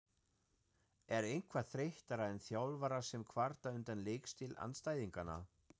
Er eitthvað þreyttara en þjálfarar sem kvarta undan leikstíl andstæðinganna?